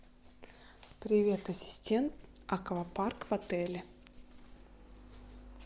привет ассистент аквапарк в отеле